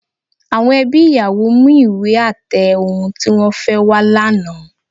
Àwọn ẹbí ìyàwó mú ìwé àtẹ ohun tí wọ́n fẹ́ wá lánàá